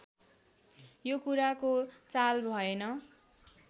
यो कुराको चाल भएन